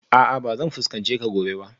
A'a ba zan fuskance ka gobe ba